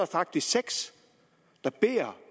faktisk seks der beder